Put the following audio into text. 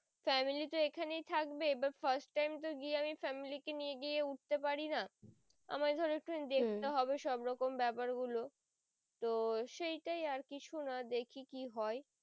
family তো এখানেই থাকবে এবার first time তো গিয়ে আমি family নিয়ে গিয়ে উঠতে পারি না আমায় ধরো একটু হম দেখতে হবে সব রকম ব্যাপার গুলো তো সেই টাই আর কিছু না দেখি কি হয়